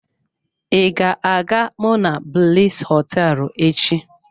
I ga-aga monablis hoteelu echi?